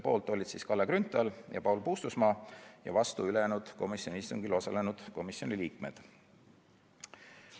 Poolt olid Kalle Grünthal ja Paul Puustusmaa ja vastu ülejäänud istungil osalenud komisjoni liikmed.